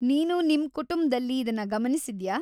ನೀನು ನಿಮ್ ಕುಟುಂಬ್ದಲ್ಲಿ ಇದನ್ನ ಗಮನಿಸಿದ್ಯಾ?